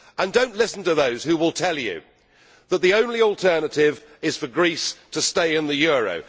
Do not listen to those who will tell you that the only alternative is for Greece to stay in the euro.